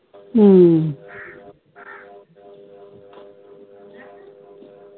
ਹੱਮ